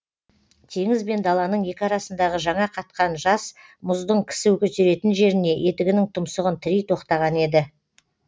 теңіз бен даланың екі арасындағы жаңа қатқан жас мұздың кісі көтеретін жеріне етігінің тұмсығын тірей тоқтаған еді